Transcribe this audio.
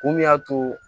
Kun min y'a to